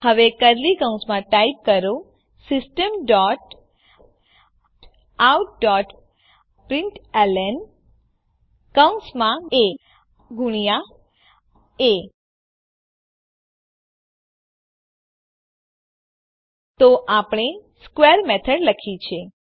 હવે કર્લી કૌંસમાં ટાઈપ કરો system dot out dot println કૌંસમાં એ ગુણ્યા એ તો આપણે સ્ક્વેર મેથડ લખી છે